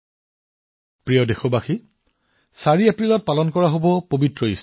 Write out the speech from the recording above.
বন্ধুসকল দেশত ৪ এপ্ৰিলত ইষ্টাৰ উদযাপন কৰা হব